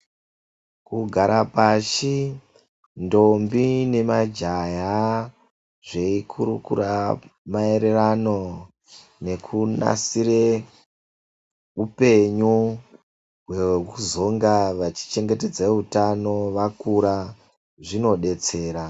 Kugara pashi ntombi nemajaha zvechi kurukura maererano nekunasire hupenyu hwekuzonga vachichengetedze utano vakura , zvinodetsera.